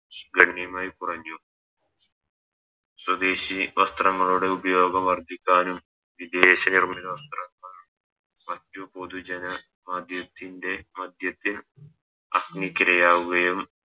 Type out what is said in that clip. ഗണ്യമായി കുറഞ്ഞു സ്വദേശി വസ്ത്രങ്ങളുടെ ഉപയോഗം വർദ്ധിക്കാനും വിദേശ നിർമ്മിത വസ്ത്രങ്ങൾ മറ്റു പൊതു ജന മധ്യത്തിൻറെ മധ്യത്തിൽ അഗ്നിക്ക് ഇരയാവുകയും